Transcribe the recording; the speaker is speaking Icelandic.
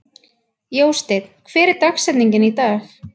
Jósteinn, hver er dagsetningin í dag?